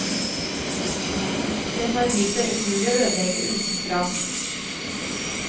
Den har vist seg umulig å ødelegge utenfra.